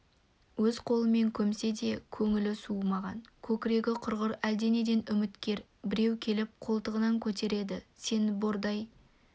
өз қолымен көмсе де көңілі суымаған көкірегі құрғыр әлденеден үміткер біреу келіп қолтығынан көтерді сен бордай